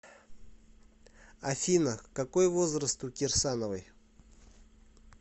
афина какой возраст у кирсановой